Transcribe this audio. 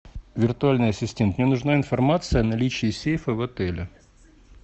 виртуальный ассистент мне нужна информация о наличии сейфа в отеле